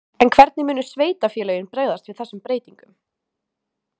En hvernig munu sveitarfélögin bregðast við þessum breytingum?